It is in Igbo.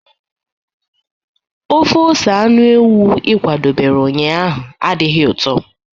ofe ose anụ ewu ị kwadobere ụnyahụ adịghị ụtọ?